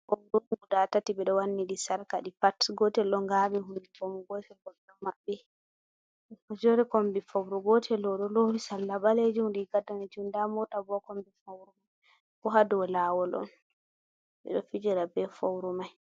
Four on guda tati ɓeɗo wanni ɗi sarqa, ɗi pat gotel ɗo ngaɓi hunduko mum gotel bo ɗo maɓɓi, mo joɗi kombi fouru gotel ɗo oɗo lowi riga danejum be sarla ɓalejum, nda mota bo ha kombi mako bo ha dow lawol on, ɓeɗo fijirta be fouru mai.